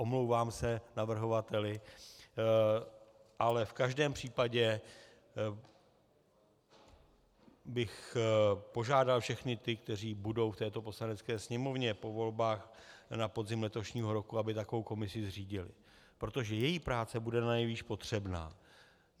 Omlouvám se navrhovateli, ale v každém případě bych požádal všechny ty, kteří budou v této Poslanecké sněmovně po volbách na podzim letošního roku, aby takovou komisi zřídili, protože její práce bude nanejvýš potřebná.